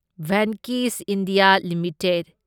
Venky's India limited